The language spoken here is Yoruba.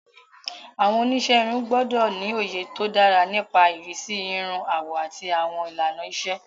Àwọn oníṣẹ́ irun gbọ́dọ̀ ní òye tó dára nípa ìrísí irun, àwọ̀, àti àwọn ìlànà ìṣe.